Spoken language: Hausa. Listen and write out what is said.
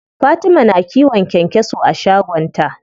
Fatima na kiwon kyankyaso a shagon ta.